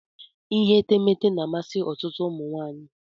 Ihe etemeete na-amasị ọtụtụ ụmụ nwaanyị.